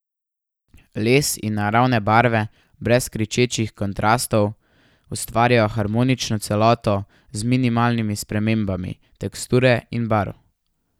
Les in naravne barve brez kričečih kontrastov ustvarjajo harmonično celoto z minimalnimi spremembami teksture in barv.